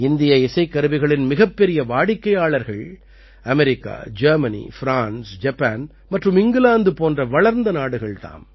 இந்திய இசைக்கருவிகளின் மிகப்பெரிய வாடிக்கையாளர்கள் அமெரிக்கா ஜெர்மனி ஃப்ரான்ஸ் ஜப்பான் மற்றும் இங்கிலாந்து போன்ற வளர்ந்த நாடுகள் தாம்